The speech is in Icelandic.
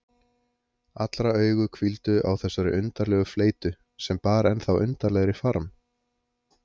Allra augu hvíldu á þessari undarlegu fleytu, sem bar ennþá undarlegri farm.